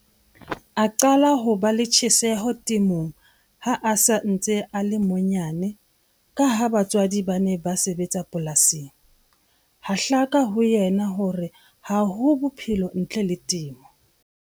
A qala ho ba le tjheseho temong ha a sa ntse a le monyane ka ha batswadi ba ne ba sebetsa polasing. Ha hlaka ho yena hore ha ho bophelo ntle le temo.